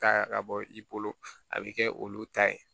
Ta ka bɔ i bolo a bɛ kɛ olu ta ye